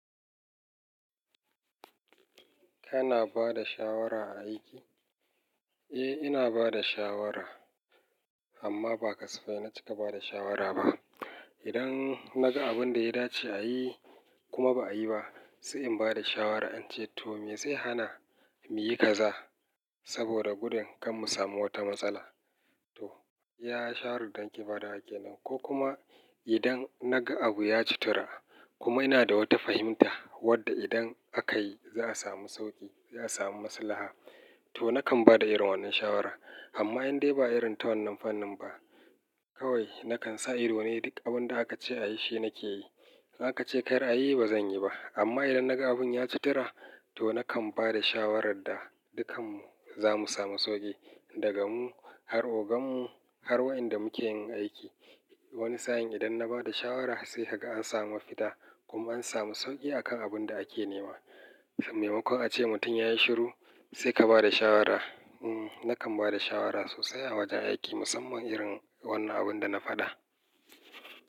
Kana ba da shawara a aiki? Eh, ina ba da shawara, amma ba kasafai na cika ba da shawara ba. Idan naga abin da ya dace a yi kuma ba a yi ba, sai in ba da shawara in ce to me zai hana mu yi kaza saboda gudun kan mu samu wata matsala. To, iya shawaradda nake badawa kenan. Ko kuma idan naga abu ya cittura kuma ina da wata fahimta wadda idan aka yi za a samu sauƙi, za a samu maslaha, to nakan ba da irin wannan shawara. Amma in dai ba irin ta wannan fannin ba, kawai nakan sa ido ne duk abin da aka ce a yi shi nake yi. In aka ce kar a yi, ba zan yi ba. Amma idan naga abin ya cittura, to nakan ba da shawaradda dukanmu zamu samu sauƙi daga mu har ogan mu har wa'enda muke yin aiki. Wani sa'in idan na ba da shawara sai haga an samu mafita kuma an samu sauƙi akan abin da ake nema. Maimakon ace mutum ya yi shiru sai ka ba da shawara. Hmm, nakan ba da shawara sosai a wajen aiki musamman irin wannan abin da na faɗa.